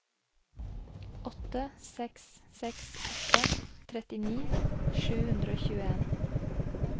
åtte seks seks åtte trettini sju hundre og tjueen